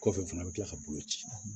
Kɔfɛ fana bɛ kila ka bolo ci